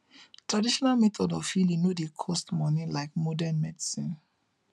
traditional method of healing no dey cost money like modern medicine